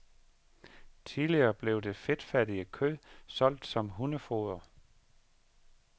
Tidligere blev det fedtfattige kød solgt som hundefoder.